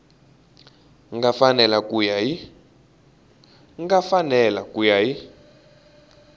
nga fanela ku ya hi